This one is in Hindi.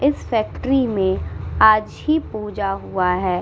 इस फैक्ट्री में आज ही पूजा हुआ है।